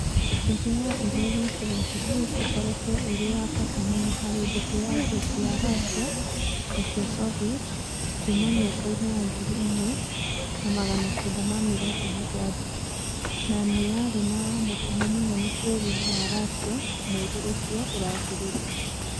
Ndege ya Il-76 ĩkoretwo ĩrĩ ya bata mũno harĩ mbũtũ cia njeshi cia Russia na cia Soviet kuuma mĩaka-inĩ ya ngiri ĩmwe na magana kenda ma mĩrongo mũgwanja, na nĩ yarĩ na mũtino mũnene bũrũri-inĩ wa Russia mweri ũcio ũrathirire.